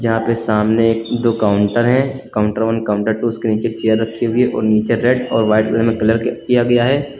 यहां पे सामने एक दो काउंटर हैं काउंटर वन काउंटर टू उसके नीचे एक चेयर रखी हुई है और नीचे रेड और वाइट कलर में कलर किया गया है।